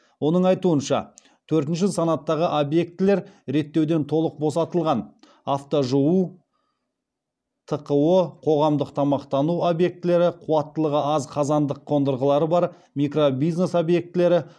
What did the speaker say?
оның айтуынша төртінші санаттағы объектілер реттеуден толық босатылған